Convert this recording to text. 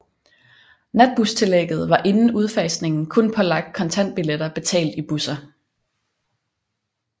Natbustillægget var inden udfasningen kun pålagt kontantbilletter betalt i busser